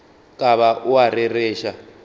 ka ba o a rereša